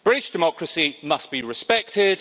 British democracy must be respected.